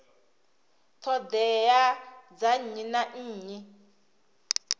ṱhoḓea dza nnyi na nnyi